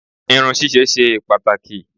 Irun ṣíṣe ṣe pàtàkì.